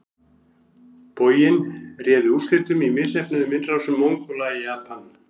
Boginn réði úrslitum í misheppnuðum innrásum Mongóla í Japan.